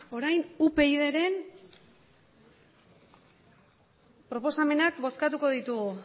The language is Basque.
orain upydren proposamenak bozkatuko ditugu